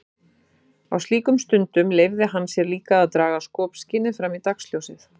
Á slíkum stundum leyfði hann sér líka að draga skopskynið fram í dagsljósið.